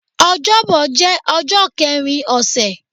Ọjọ́bọ̀ jẹ́ ọjọ́ kẹrin ọ̀sẹ̀